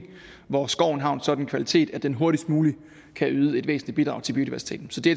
hvor skoven har en sådan kvalitet at den hurtigst muligt kan yde et væsentligt bidrag til biodiversiteten så det